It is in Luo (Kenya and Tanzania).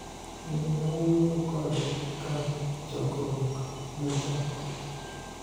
Ne awuoyo kode ka chokruok nochako